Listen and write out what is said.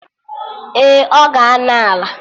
Ee, ọ ga-anọ Ala